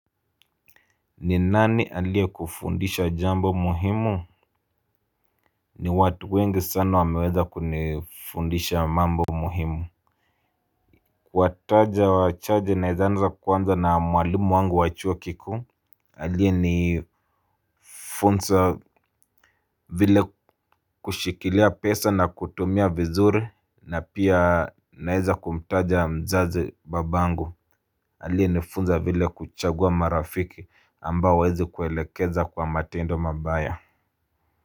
Ni nani aliye kufundisha jambo muhimu. Ni watu wengi sana wameweza kunifundisha mambo muhimu. Kuwa taja wachache naezaanza kwanza na mwalimu wangu wachuo kikuu aliye ni funza vile kushikilia pesa na kutumia vizuri. Na pia naeza kumtaja mzazi babangu. Aliye ni funza vile kuchagua marafiki ambao hawaezi kuelekeza kwa matendo mabaya.